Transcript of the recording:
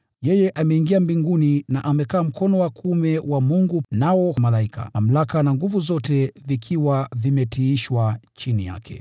Yeye ameingia mbinguni na amekaa mkono wa kuume wa Mungu; nao malaika, mamlaka na nguvu zote wametiishwa chini yake.